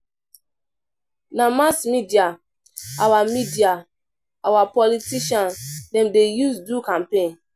Na mass media our media our politician dem dey use do campaign.